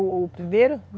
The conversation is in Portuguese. O primeiro?